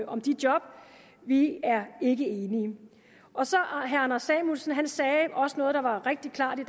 om de job vi er ikke enige herre anders samuelsen sagde også noget der var rigtig klart